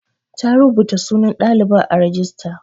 Ta rubuta sunan ɗalibar a rajista.